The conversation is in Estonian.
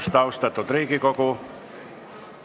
Tere hommikust, austatud Riigikogu!